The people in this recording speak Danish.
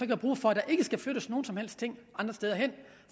kan bruge for at der ikke skal flyttes nogen som helst ting andre steder hen